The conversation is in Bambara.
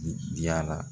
Diyala